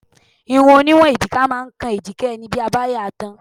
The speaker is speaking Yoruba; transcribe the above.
Irun oníwọ̀n èjìká máa ń kan èjìká ẹni bí a bá yà á tán.